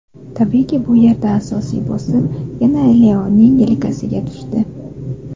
Tabiiyki, bu yerda asosiy bosim yana Leoning yelkasiga tushdi.